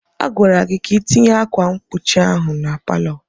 A gwara gị ka itinye ákwà mkpuchi ahụ na palọ!